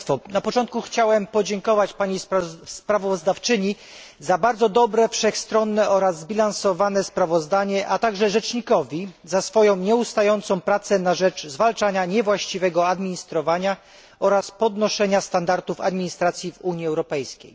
Na początku chciałem podziękować pani sprawozdawczyni za bardzo dobre, wszechstronne oraz zbilansowane sprawozdanie, a także rzecznikowi za jego nieustającą pracę na rzecz zwalczania niewłaściwego administrowania oraz podnoszenia standardów administracji w Unii Europejskiej.